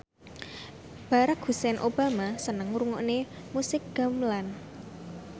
Barack Hussein Obama seneng ngrungokne musik gamelan